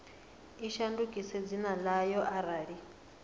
i shandukise dzina ḽayo arali